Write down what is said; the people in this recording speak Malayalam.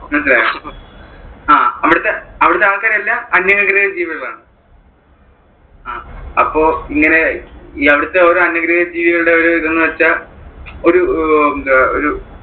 മനസ്സിലായ? അഹ് അവിടത്തെ ആൾകാരെല്ലാം അന്യഗ്രഹജീവികൾ ആണ്. അഹ് അപ്പൊ ഇങ്ങനെ അവിടത്തെ ഓരോ അന്യഗ്രഹജീവികളുടേം ഒരു ഇത് എന്ന് വെച്ചാൽ ഓഒരു അഹ്